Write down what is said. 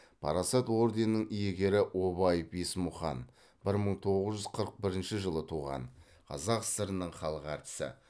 парасат орденінің иегері обаев есмұқан бір мың тоғыз жүз қырық бірінші жылы туған қазақ сср інің халық әртісі